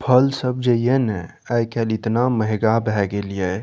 फल सब जाहिए ने आइ कल इतना महंगा भै गिलिये।